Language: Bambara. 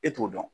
E t'o dɔn